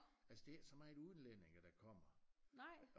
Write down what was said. Altså det ikke så meget udenlændinge der kommer